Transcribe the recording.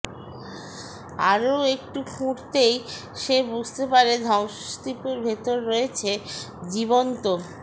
আরও একটু খুঁড়তেই সে বুঝতে পারে ধ্বংসস্তুপের ভিতর রয়েছে জীবন্ত